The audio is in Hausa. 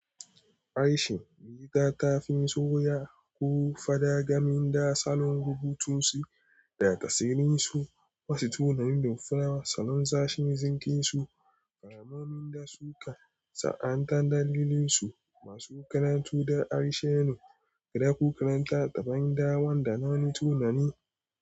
Arishin, wani gata ta fim soya ko fadagamin da salon rubutunsu da tasirinsu. Wasu tunanin da fim salon sashen zinkin su, ƙaramomin da suka sa'anta dalilin su masu karatu da arishenu, guda ko karanta daban dawan da nau'in tunani.